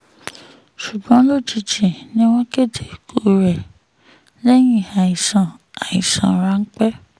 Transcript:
ṣùgbọ́n lójijì ni wọ́n kéde ikú rẹ̀ lẹ́yìn àìsàn àìsàn ráńpẹ́